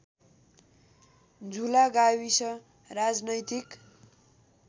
झुला गाविस राजनैतिक